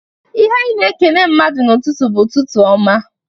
Ihe anyị na-ekene mmadụ n'ụtụtụ bụ, "Ụtụtụ ọma!"